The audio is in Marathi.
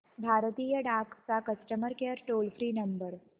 भारतीय डाक चा customer care toll free number